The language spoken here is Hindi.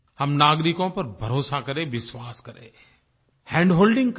हम नागरिकों पर भरोसा करें विश्वास करें हैंडहोल्डिंग करें